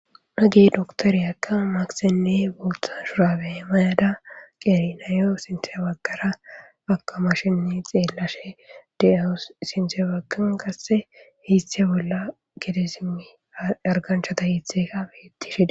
Nage doktoriyakka makisenne bultha shuraabe mayada qerinayo sinteybaggara akamashinne xeellashe de7eho sinte baggan kasse hiiste bolla gedesimi arganchata hiitheka bettishida.